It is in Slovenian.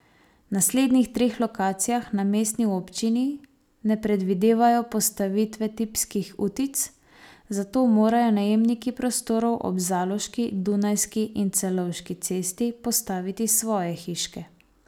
Na slednjih treh lokacijah na mestni občini ne predvidevajo postavitve tipskih utic, zato morajo najemniki prostorov ob Zaloški, Dunajski in Celovški cesti postaviti svoje hiške.